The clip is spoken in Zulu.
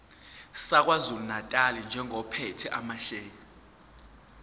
sakwazulunatali njengophethe amasheya